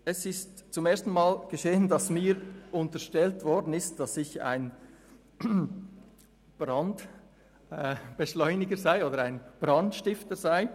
Es ist das erste Mal, dass man mir unterstellt, ein Brandbeschleuniger oder Brandstifter zu sein.